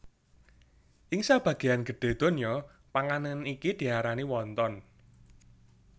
Ing sabagéyan gedhé donya panganan iki diarani wonton